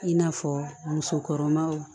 I n'a fɔ musokɔrɔbaw